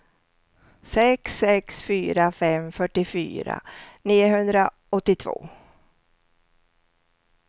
sex sex fyra fem fyrtiofyra niohundraåttiotvå